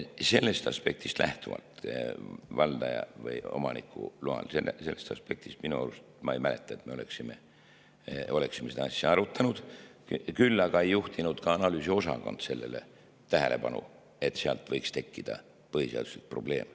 Sellest aspektist lähtuvalt – valdaja või omaniku loal – minu arust, ma ei mäleta, et me oleksime seda asja arutanud, aga ka analüüsiosakond ei juhtinud sellele tähelepanu, et sealt võiks tekkida põhiseaduslik probleem.